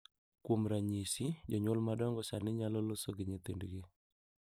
Kuom ranyisi, jonyuol madongo sani nyalo loso gi nyithindgi